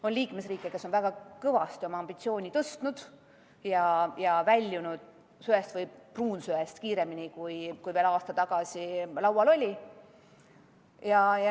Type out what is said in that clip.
On liikmesriike, kes on väga kõvasti oma ambitsiooni tõstnud ja väljunud söe või pruunsöe kasutamisest kiiremini, kui veel aasta tagasi plaanis oli.